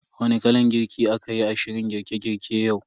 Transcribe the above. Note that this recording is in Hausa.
Wani kalan girki a kayi a shirin girke girke yau?